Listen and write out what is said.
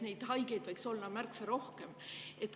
Neid haigeid võib olla ka märksa rohkem.